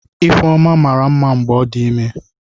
Ifeoma mara mma mgbe ọ dị ime.